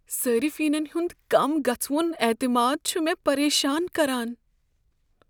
صٲرفینن ہنٛد کم گژھوُن اعتماد چھُ مےٚ پریشان کران۔